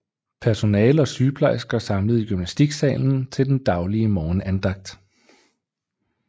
Personale og sygeplejersker samlet i gymnastiksalen til den daglige morgenandagt